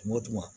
Tuma o tuma